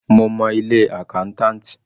Mo mọ ilé accountant.